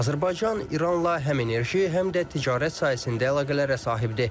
Azərbaycan İranla həm enerji, həm də ticarət sahəsində əlaqələrə sahibdir.